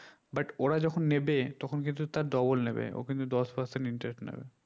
but ওরা যখন নেবে তখুন কিন্তু তার double নেবে ও কিন্তু দশ person interest নিবে